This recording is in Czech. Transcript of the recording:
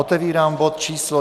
Otevírám bod číslo